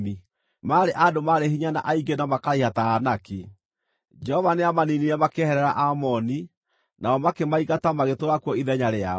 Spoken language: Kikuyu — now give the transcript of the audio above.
Maarĩ andũ marĩ hinya na aingĩ na makaraiha ta Aanaki. Jehova nĩamaniinire makĩeherera Aamoni, nao makĩmaingata magĩtũũra kuo ithenya rĩao.